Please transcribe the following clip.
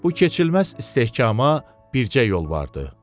Bu keçilməz istehkama bircə yol vardı.